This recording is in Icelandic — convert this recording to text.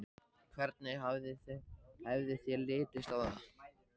Hvernig hefði þér litist á það?